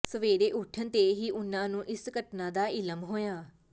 ਸਵੇਰੇ ਉੱਠਣ ਤੇ ਹੀ ਉਹਨਾਂ ਨੂੰ ਇਸ ਘਟਨਾ ਦਾ ਇਲਮ ਹੋਇਆ